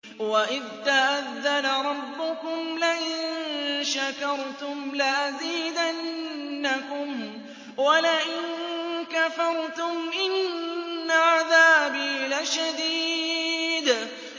وَإِذْ تَأَذَّنَ رَبُّكُمْ لَئِن شَكَرْتُمْ لَأَزِيدَنَّكُمْ ۖ وَلَئِن كَفَرْتُمْ إِنَّ عَذَابِي لَشَدِيدٌ